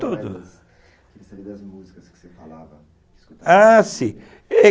Ah, sim